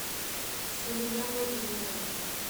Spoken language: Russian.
салия владимировна